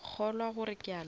kgolwa gore ke a lora